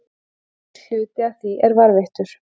Einungis hluti af því er varðveittur.